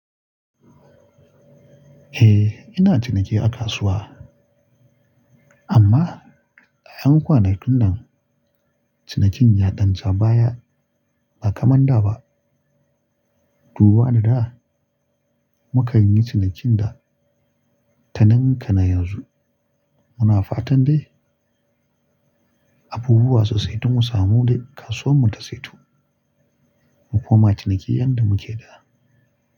Eh, ina ciniki a kasuwa. Amma ƴan kwanakin nan cinikin ya ɗan ja baya ba kamar da ba. Duba da da mukan yi cinikin da ta ninka na yanzu. Muna fatan dai abubuwa sosai don mu samu dai kasuwar mu ta saito mu koma ciniki yadda muke da.